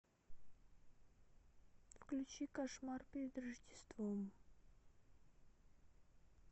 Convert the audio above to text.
включи кошмар перед рождеством